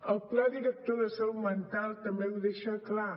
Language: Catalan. el pla director de salut mental també ho deixa clar